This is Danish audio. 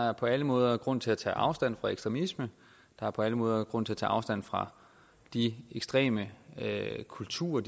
er på alle måder grund til at tage afstand fra ekstremisme der er på alle måder grund til at tage afstand fra de ekstreme kulturer